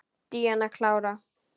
Díana klára.